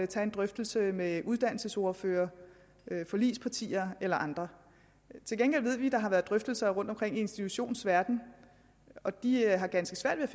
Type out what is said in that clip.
tage en drøftelse med uddannelsesordførere forligspartier eller andre til gengæld ved vi at der har været drøftelser rundtomkring i institutionsverdenen og de har ganske svært ved